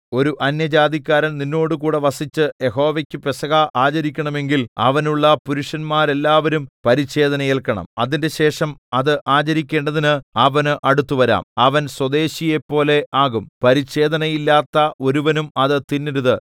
ഒരു അന്യജാതിക്കാരൻ നിന്നോടുകൂടെ വസിച്ച് യഹോവയ്ക്ക് പെസഹ ആചരിക്കണമെങ്കിൽ അവനുള്ള പുരുഷന്മാരെല്ലാവരും പരിച്ഛേദന ഏല്ക്കണം അതിന്‍റെശേഷം അത് ആചരിക്കേണ്ടതിന് അവന് അടുത്തുവരാം അവൻ സ്വദേശിയെപ്പോലെ ആകും പരിച്ഛേദനയില്ലാത്ത ഒരുവനും അത് തിന്നരുത്